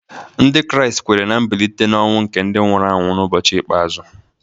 Ndị Kraịst kweere ná mbilite n’ọnwụ nke ndị nwụrụ anwụ n’ụbọchị ikpeazụ